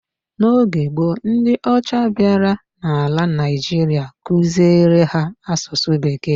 N'oge gboo, ndị ọcha bịara n'ala Naigeria kuziere ha asụsụ Bekee.